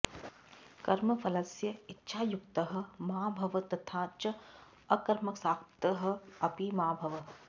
कर्मफलस्य इच्छायुक्तः मा भव तथा च अकर्मासक्तः अपि मा भव